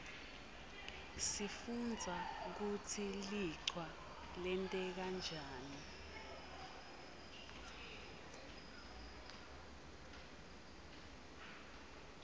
sifundza kutsi lichwa lenteka njani